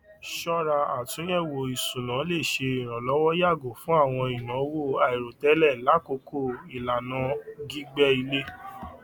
ṣọra àtúnyẹwò isúnà le ṣe ìrànlọwọ yàgò fún àwọn ináwó àìròtẹlẹ lákòókò ìlànà gígbé ilé